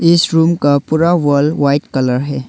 इस रूम का पूरा वाल व्हाइट कलर है।